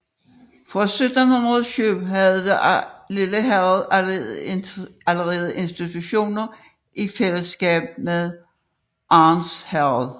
Fra 1702 havde det lille herred alle institutioner i fælleskab med Arns Herred